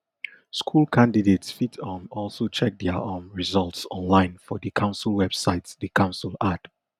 school candidates fit um also check dia um results online for di council website di council add